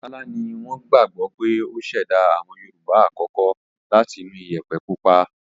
Ọbàtálá ni wọ́n gbagbọ pé ó ṣẹ̀dá àwọn Yorùbá àkọ́kọ́ láti inú Iyẹ̀pẹ̀ pupa